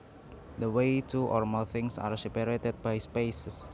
The way two or more things are separated by spaces